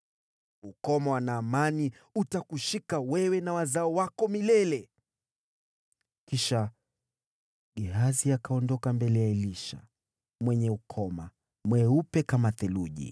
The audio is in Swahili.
Ukoma wa Naamani utakushika wewe na wazao wako milele.” Kisha Gehazi akaondoka mbele ya Elisha, mwenye ukoma, mweupe kama theluji.